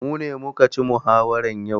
Mu ne muka ci muhawara yau.